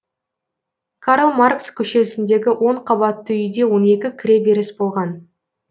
карл маркс көшесіндегі он қабатты үйде он екі кіреберіс болған